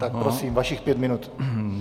Tak prosím, vašich pět minut.